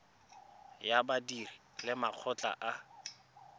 ya badiri le makgotla a